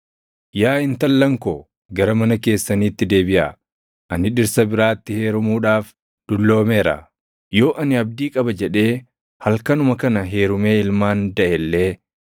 Yaa intallan koo gara mana keessaniitti deebiʼaa; ani dhirsa biraatti heerumuudhaaf dulloomeera. Yoo ani abdii qaba jedhee halkanuma kana heerumee ilmaan daʼe illee,